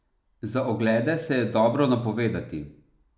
Za oglede se je dobro napovedati.